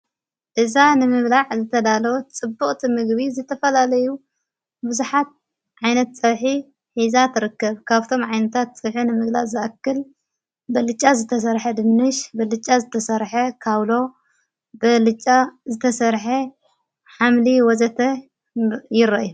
እዛ ንምብላዕ ዝተዳለወ ጽቡቕቲ ምግቢ ዝተፈላለዩ ብዙሓት ዓይነት ፀብሒ ሒዛ ትርከብ ካብቶም ዓይነታት ፀብሒ ንምግላፅ ዝኣክል በልጫ ዝተሰርሐ ድንሽ፣ ብልጫ ዝተሰርሐ ካውሎ፣ ብልጫ ዘተሰርሐ ሓምሊ፣ ወዘተ ይረኣዩ።